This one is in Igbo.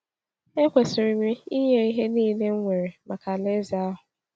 Ekwesịrị m ịnye ihe niile m nwere maka Alaeze ahụ.